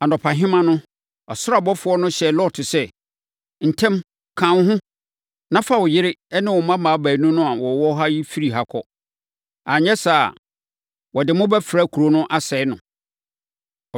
Anɔpahema no, ɔsoro abɔfoɔ no hyɛɛ Lot sɛ, “Ntɛm! Ka wo ho, na fa wo yere ne wo mmammaa baanu a wɔwɔ ha no firi ha kɔ; anyɛ saa a, wɔde mo bɛfra kuro no, asɛe mo.”